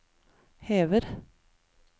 hever